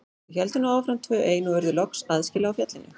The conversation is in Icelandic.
Þau héldu nú áfram tvö ein og urðu loks aðskila á fjallinu.